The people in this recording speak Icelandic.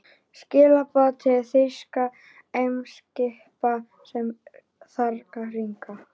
Skilaboð til þýskra eimskipa, sem þarna liggja.